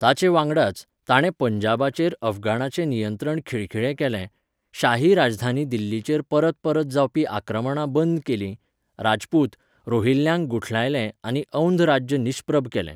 ताचे वांगडाच, ताणें पंजाबाचेर अफगाणाचें नियंत्रण खिळखिळें केलें, शाही राजधानी दिल्लीचेर परतपरत जावपी आक्रमणां बंद केलीं, राजपूत, रोहिल्यांक गुठालायले आनी औंध राज्य निश्प्रभ केलें.